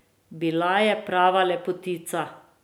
Bila je prava lepotica.